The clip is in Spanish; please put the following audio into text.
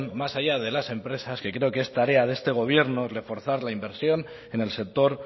más allá de las empresas que creo que es tarea de este gobierno el reforzar la inversión en el sector